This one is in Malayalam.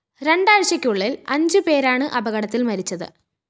രണ്ടാഴ്ചയ്ക്കുള്ളില്‍ അഞ്ച് പേരാണ് അപകടത്തില്‍ മരിച്ചത്